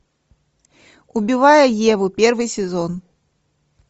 убивая еву первый сезон